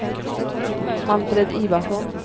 Manfred Ivarsson